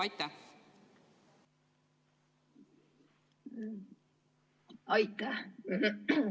Aitäh!